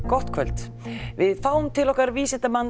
gott kvöld við fáum til okkar vísindamanninn